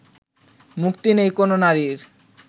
মুক্তি নেই কোনও নারীর